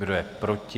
Kdo je proti?